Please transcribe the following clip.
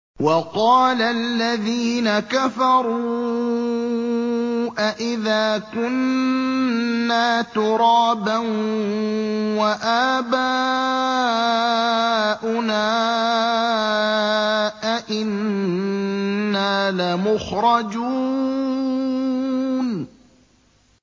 وَقَالَ الَّذِينَ كَفَرُوا أَإِذَا كُنَّا تُرَابًا وَآبَاؤُنَا أَئِنَّا لَمُخْرَجُونَ